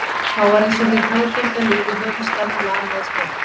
Þá var einsog hið hæggenga líf í höfuðstaðnum lamaðist með öllu